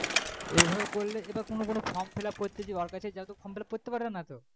তো এভাবে করলে এটা কোনো কোনো form fillup করতে যে ওর কাছে যা তো form fillup করতে পারে না তো।